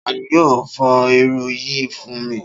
Ta ni yóò fọ irú yìí fún mi?